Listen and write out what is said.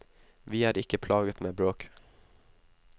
Vi er ikke plaget med bråk.